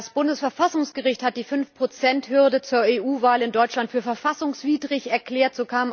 Das Bundesverfassungsgericht hat die Fünf Prozent Hürde zur EU Wahl in Deutschland für verfassungswidrig erklärt.